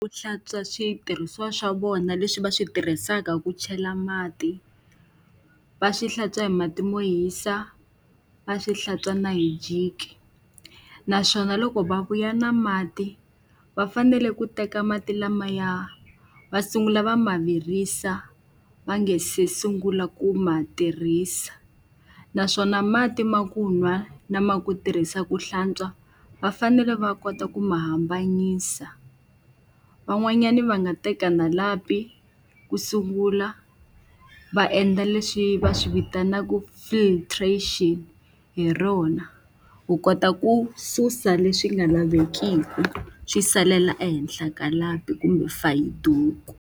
Ku hlantswa switirhisiwa swa vona leswi va swi tirhisaka ku chela mati, va swi hlantswa hi mati mo hisa, va swi hlantswa na hi jiki. Naswona loko va vuya na mati va fanele ku teka mati lamaya va sungula va ma virisa, va nga se sungula ku ma tirhisa. Naswona mati ma ku nwa lama ku tirhisa ku hlantswa, va fanele va kota ku ma hambanyisa. Van'wanyani va nga teka na lapi ku sungula va endla leswi va swi vitanaka filtration hi rona. Ku kota ku susa leswi nga lavekiki swi salela ehenhla ka lapi kumbe fayiduku.